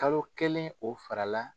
Kalo kelen o fara la